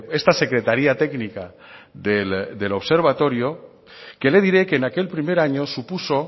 esta secretaría técnica del observatorio que le diré que en aquel primer año supuso